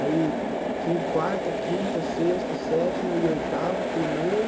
Aí quin, quarta, quinta, sexta, sétima e oitava, primeiro